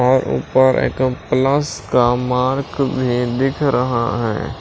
और ऊपर एक प्लस का मार्क भी दिख रहा है।